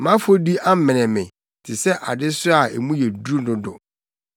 Mʼafɔdi amene me te sɛ adesoa a mu yɛ duru dodo.